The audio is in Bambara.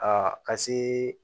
Aa ka se